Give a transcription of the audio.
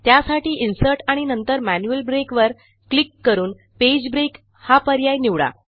त्यासाठी इन्सर्ट आणि नंतर मॅन्युअल ब्रेक वर क्लिक करूनPage ब्रेक या पर्याय निवडा